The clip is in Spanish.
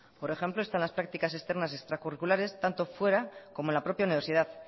por ejemplo están las practicas externas extracurriculares tanto fuera como en la propia universidad